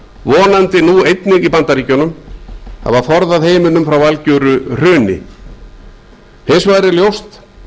vonandi nú einnig í bandaríkjunum hafa forðað heiminum frá algjöru hruni hins vegar er ljóst